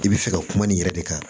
I bɛ fɛ ka kuma nin yɛrɛ de kan